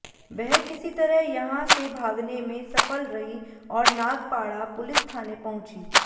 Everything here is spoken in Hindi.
वह किसी तरह यहां से भागने में सफल रही और नागपाड़ा पुलिस थाने पहुंची